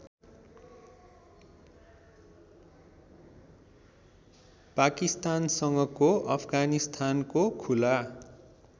पाकिस्तानसँगको अफगानिस्तानको खुला